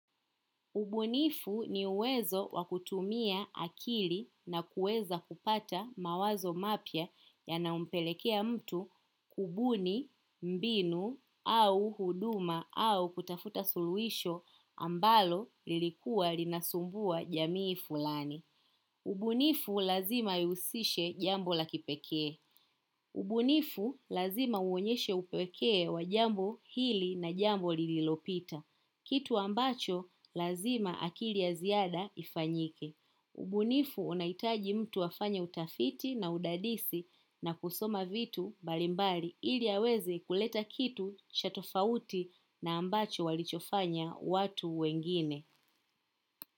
Ubunifu ni uwezo wa kutumia akili na kuweza kupata mawazo mapya yanayompelekea mtu kubuni mbinu au huduma au kutafuta suluhisho ambalo lilikua linasumbua jamii fulani ubunifu lazima ihusishe jambo la kipekee ubunifu lazima uonyeshe upekee wa jambo hili na jambo lililopita kitu ambacho lazima akili ya ziada ifanyike ubunifu unahitaji mtu afanye utafiti na udadisi na kusoma vitu mbalimbali ili aweze kuleta kitu cha tofauti na ambacho walichofanya watu wengine.